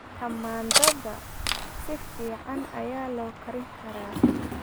Tamaandhada si fiican ayaa loo karin karaa.